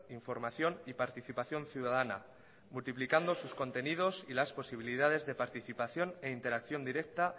información y participación ciudadana multiplicando sus contenidos y las posibilidades de participación e interacción directa